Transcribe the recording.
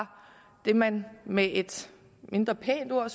det som man med et mindre pænt ord